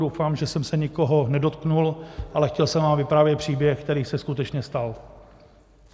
Doufám, že jsem se nikoho nedotknul, ale chtěl jsem vám vyprávět příběh, který se skutečně stal.